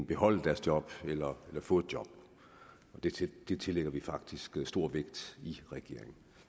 beholde deres job eller få et job det tillægger vi faktisk stor vægt i regeringen